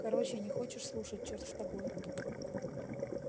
короче не хочешь слушать черт с тобой